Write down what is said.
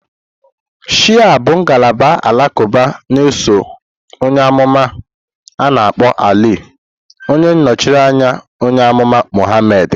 Shia bụ ngalaba alakuba na-eso onye amuma a-na akpo Ali, onye nọchiri anya onye amụma Muhammad.